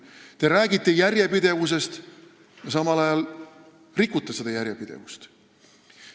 Te räägite järjepidevusest, aga samal ajal rikute seda järjepidevust.